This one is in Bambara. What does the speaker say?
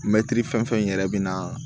Mɛtiri fɛn fɛn yɛrɛ bɛ na